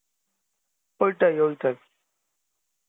ঐটাই ঐটাই